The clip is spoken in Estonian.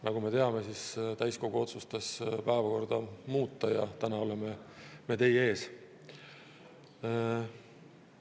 Nagu me teame, täiskogu otsustas päevakorda muuta ja teie ees täna.